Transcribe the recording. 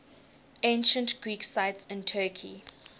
ancient greek sites in turkey